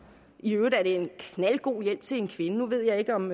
i øvrigt er det en knaldgod hjælp til en kvinde nu ved jeg ikke om